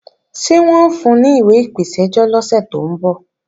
Ṣé wọ́n ń fun ní ìwé ìpèsẹ́jọ́ lọ́sẹ̀ tó ń bọ̀?